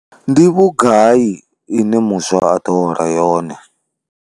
Ndi vhugai ine muswa a ḓo hola yone?